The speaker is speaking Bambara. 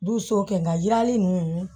Dusu kɛ nga yirali nunnu